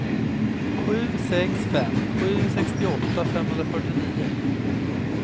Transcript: sju sex fem sju sextioåtta femhundrafyrtionio